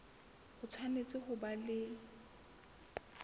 o tshwanetse ho ba le